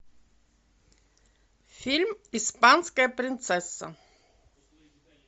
фильм испанская принцесса